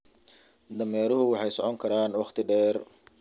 Dameeruhu waxay socon karaan wakhti dheer.